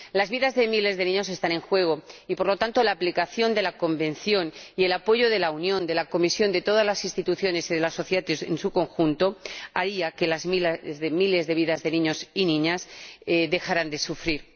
Las vidas de miles de niños están en juego y, por lo tanto, la aplicación de la Convención y el apoyo de la Unión, de la Comisión, de todas las instituciones y de la sociedad en su conjunto haría que miles de vidas de niños y niñas dejaran de sufrir.